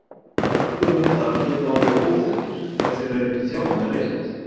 Allir hundar geta orðið óþekkir ef þeir eru ekki þjálfaðir rétt.